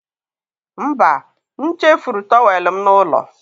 mba, m chefuru tọwel m n'ụlọ.